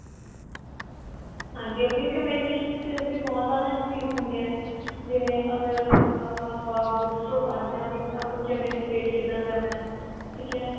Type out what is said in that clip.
ਹਾਂਜੀ ਆਪਣੀ communication skills ਵੀ ਬਹੁਤ ਜਿਆਦਾ increase ਹੁੰਦੀਆਂ ਨੇ ਜਿਵੇਂ ਅਗਰ ਆ ਆਪਾਂ books ਚੋ ਪੜ ਰਹੇ ਆ ਵੀ ਆਪਾਂ communicate ਕਿੱਦਾ ਕਰਨਾ ਠੀਕ ਏ